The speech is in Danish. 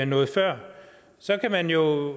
noget før så kan man jo